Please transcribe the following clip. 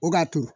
O k'a to